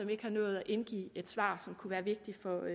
ikke har nået at indgive et svar som kunne være vigtig for